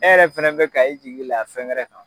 E yɛrɛ fana bɛ ka i jigi da fɛn wɛrɛ kan.